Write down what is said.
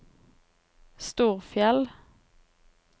Storfjell